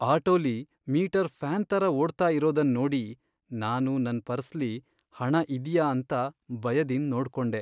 ಆಟೋಲಿ meter fan ತರ ಓಡ್ತಾ ಇರೋದನ್ ನೋಡಿ . ನಾನು ನನ್ ಪರ್ಸ್ಲಿ ಹಣ ಇದ್ಯಾ ಅಂತ ಬಯದಿಂದ್ ನೋಡ್ಕೊಂಡೆ.